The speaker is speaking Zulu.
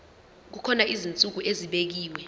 kukhona izinsuku ezibekiwe